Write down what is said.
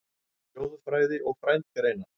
Þjóðfræði og frændgreinar